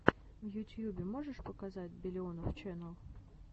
в ютьюбе можешь показать биллионов ченел